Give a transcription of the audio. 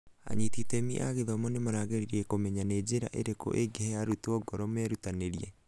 anyiti itemi a gĩthomo nĩmarageria kũmenya nĩ njĩra irĩkũ ĩngĩhe arutwo ngoro merutanĩrie.